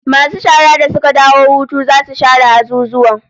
Masu shara da suka dawo hutu zasu share azuzuwan